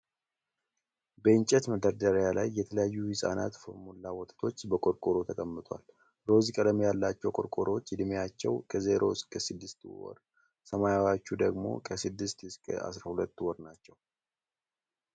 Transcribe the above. በእንጨት መደርደሪያ ላይ የተለያዩ የሕፃናት ፎርሙላ ወተቶች በቆርቆሮ ተቀምጠዋል። ሮዝ ቀለም ያላቸው ቆርቆሮዎች ዕድሜያቸው ከዜሮ እስከ ስድስት ወር፣ ሰማያዊዎቹ ደግሞ ከስድስት እስከ አስራ ሁለት ወር ናቸው።